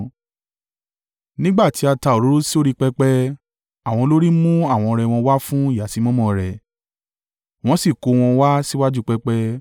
Nígbà tí a ta òróró sórí pẹpẹ. Àwọn olórí mú àwọn ọrẹ wọn wá fún ìyàsímímọ́ rẹ̀, wọ́n sì kó wọn wá síwájú pẹpẹ.